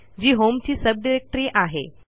जी होमची sub directory आहे